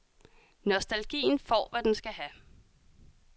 Nostalgien får hvad den skal have.